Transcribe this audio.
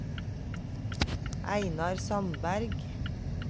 Einar Sandberg